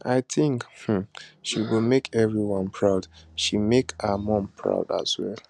i think um she go make everyone proud she make her mum proud as well